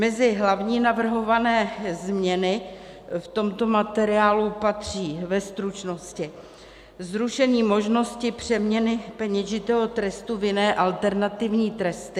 Mezi hlavní navrhované změny v tomto materiálu patří, ve stručnosti: zrušení možnosti přeměny peněžitého trestu v jiné, alternativní tresty;